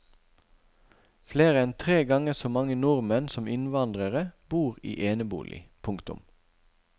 Flere enn tre ganger så mange nordmenn som innvandrere bor i enebolig. punktum